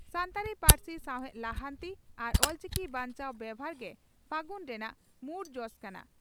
ᱥᱟᱱᱛᱟᱲᱤ ᱯᱟᱹᱨᱥᱤ ᱥᱟᱣᱦᱮᱫ ᱞᱟᱦᱟᱱᱛᱤ ᱟᱨ ᱚᱞᱪᱤᱠᱤ ᱵᱟᱧᱪᱟᱣ ᱵᱮᱵᱷᱟᱨ ᱜᱮ 'ᱯᱷᱟᱹᱜᱩᱱ' ᱨᱮᱱᱟᱜ ᱢᱩᱲ ᱡᱚᱥ ᱠᱟᱱᱟ ᱾